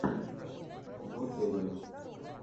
вотэвер